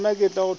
ke be ke no re